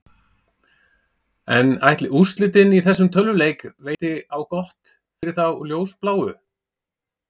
En ætli úrslitin í þessum tölvuleik veiti á gott fyrir þá ljósbláu?